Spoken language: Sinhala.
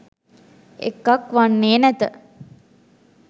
එකක් වන්නේ නැත.